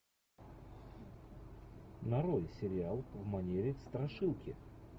нарой сериал в манере страшилки